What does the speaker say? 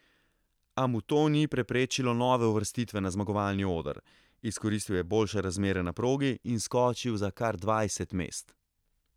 A mu to ni preprečilo nove uvrstitve na zmagovalni oder, izkoristil je boljše razmere na progi in skočil za kar dvajset mest.